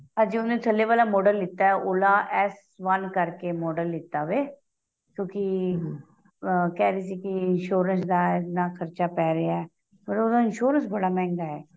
ਅਜੇ ਉਹਨੇ ਥੱਲੇ ਵਾਲਾ model ਲਿੱਤਾ ਏ Ola S One ਕਰਕੇ model ਲਿੱਤਾ ਵੇ ਕਿਉਂਕਿ ਆਂ ਕਹਿ ਰਹੀ ਸੀ ਕੀ insurance ਦਾ ਇੰਨਾ ਖਰਚਾ ਪੇਹ ਰਿਹਾ ਮਤਲਬ ਉਹਦਾ insurance ਬੜਾ ਮਹਿੰਗਾ ਏ